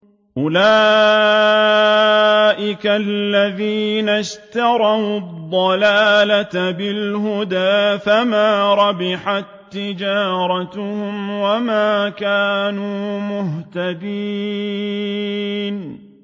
أُولَٰئِكَ الَّذِينَ اشْتَرَوُا الضَّلَالَةَ بِالْهُدَىٰ فَمَا رَبِحَت تِّجَارَتُهُمْ وَمَا كَانُوا مُهْتَدِينَ